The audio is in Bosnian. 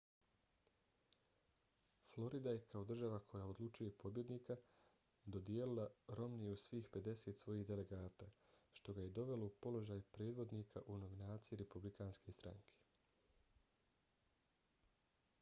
florida je kao država koja odlučuje pobjednika dodijelila romneyu svih pedeset svojih delegata što ga je dovelo u položaj predvodnika u nominaciji republikanske stranke